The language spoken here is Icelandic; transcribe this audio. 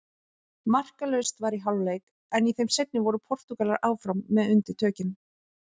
Markalaust var í hálfleik en í þeim seinni voru Portúgalar áfram með undirtökin.